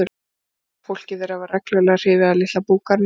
Þeir sáu að fólkið þeirra var reglulega hrifið af litla búgarðinum.